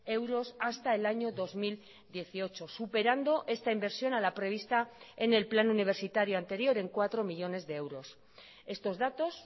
euros hasta el año dos mil dieciocho superando esta inversión a la prevista en el plan universitario anterior en cuatro millónes de euros estos datos